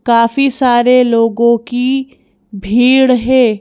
काफी सारे लोगों की भीड़ हैं।